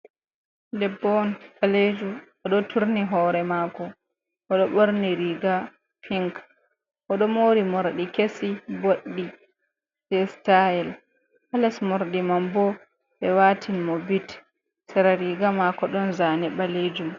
Debbo on balejo o do turni hore mako, oɗo borni riga pink, o do mori morɗi kesi, boɗɗi, jei stayel ha les morɗi man bo ɓe watini mo bit. Sera riga mako don zane ɓalejum.